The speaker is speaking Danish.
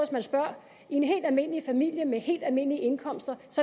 man spørger i en helt almindelig familie med helt almindelige indkomster